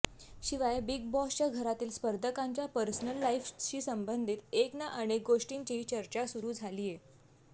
शिवाय बिग बॉसच्या घरातील स्पर्धकांच्या पर्सनल लाईफशी संबंधित एक ना अनेक गोष्टींचीही चर्चा सुरू झालीये